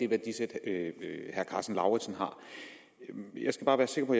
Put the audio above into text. værdisæt herre karsten lauritzen har jeg skal bare være sikker på